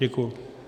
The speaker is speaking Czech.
Děkuji.